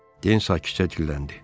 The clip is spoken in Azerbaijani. Den sakitcə dilləndi.